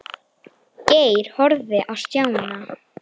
Geir horfði á Stjána.